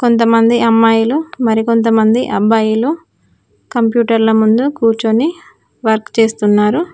కొంతమంది అమ్మాయిలు మరికొంతమంది అబ్బాయిలు కంప్యూటర్ల ముందు కూర్చొని వర్క్ చేస్తున్నారు.